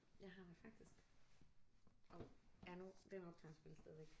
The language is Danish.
Jeg har jo faktisk hov ja nu den optager vel stadig